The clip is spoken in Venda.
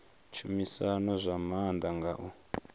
tshumisano zwa maanḓa nga u